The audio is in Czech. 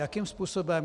Jakým způsobem?